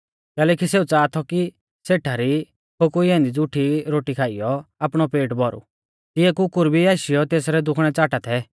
कैलैकि सेऊ च़ाहा थौ कि सेठा री फोकुई ऐन्दी ज़ुठी रोटी खाइयौ आपणौ पेट भौरु तिऐ कुकुर भी आशीयौ तेसरै दुखणै च़ाटा थै